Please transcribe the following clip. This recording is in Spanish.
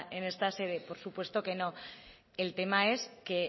en esta sede por supuesto que no el tema es que